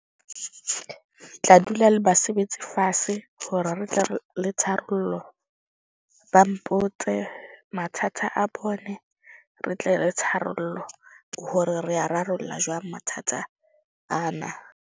Ke tla dula le basebetsi fase hore re tle re le tharollo. Ba mpotse mathata a bone. Re tle re tharollo hore re a rarolla jwang mathata ana.